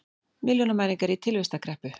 Milljónamæringar í tilvistarkreppu